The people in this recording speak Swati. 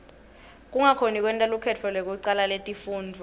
kungakhoni kwenta lukhetfo lekucala letifundvo